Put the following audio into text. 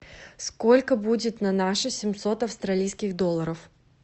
сколько будет на наши семьсот австралийских долларов